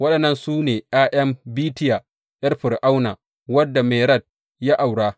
Waɗannan su ne ’ya’yan Bitiya ’yar Fir’auna, wadda Mered ya aura.